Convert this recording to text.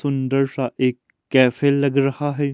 सुंदर सा एक कैफे लग रहा है।